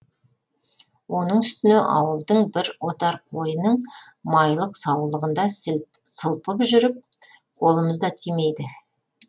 оның үстіне ауылдың бір отар қойының майлық саулығында сылпып жүріп қолымыз да тимейді